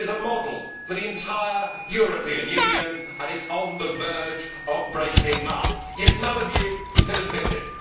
It is a model for the entire European Union and it is on the verge of breaking up, yet none of you can admit it!